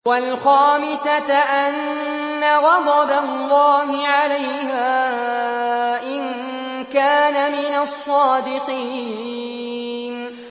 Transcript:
وَالْخَامِسَةَ أَنَّ غَضَبَ اللَّهِ عَلَيْهَا إِن كَانَ مِنَ الصَّادِقِينَ